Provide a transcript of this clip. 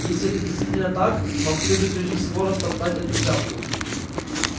если это действительно так вам следует прежде всего растоптать эту шляпку